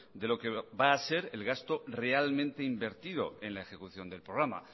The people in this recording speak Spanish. de lo que va a ser el gasto realmente invertido en la ejecución del programa